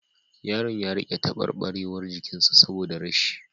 Yaron ya rika tabarbarewar jikin sa saboda rashi